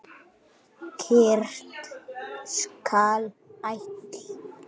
Kyrrt skal allt.